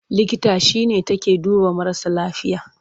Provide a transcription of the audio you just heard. Likita shi ne take duba marasa lafiya.